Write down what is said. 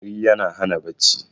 tari yana Hana bacci